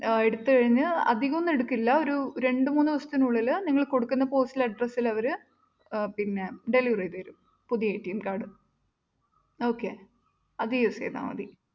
ആഹ് എടുത്ത് കഴിഞ്ഞ് അധികമൊന്നുമെടുക്കില്ലാ ഒരു രണ്ട്മൂന്ന് ദിവസത്തിനുള്ളിൽ നിങ്ങൾ കൊടുക്കുന്ന postal address ൽ അവർ പിന്നെ deliver ചെയ്തുതരും. പുതിയ കാർഡും okay അത് use ചെയ്താ മതി.